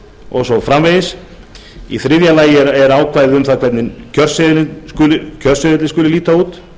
og svo framvegis í þriðja lagi eru ákvæði um það hvernig kjörseðillinn skuli líta út